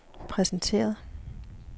præsenteret